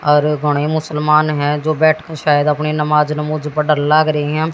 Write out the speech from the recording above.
और मुसलमान है जो बैठकर शायद अपनी नमाज नमुज लग रहे हैं।